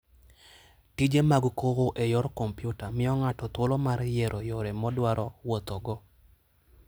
Tije mag kowo e yor kompyuta miyo ng'ato thuolo mar yiero yore modwaro wuothogo.